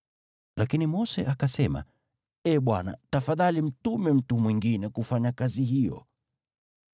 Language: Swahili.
Lakini Mose akasema, “Ee Bwana, tafadhali mtume mtu mwingine kufanya kazi hiyo.”